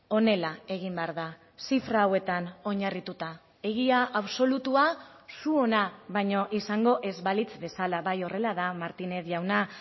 honela egin behar da zifra hauetan oinarrituta egia absolutua zuona baino izango ez balitz bezala bai horrela da martinez jauna